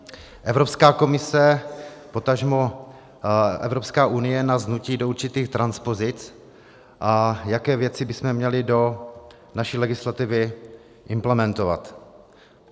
Evropská komise, potažmo Evropská unie nás nutí do určitých transpozic, a jaké věci bychom měli do naší legislativy implementovat.